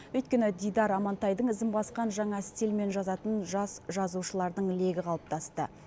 өйткені дидар амантайдың ізін басқан жаңа стильмен жазатын жас жазушылардың легі қалыптасты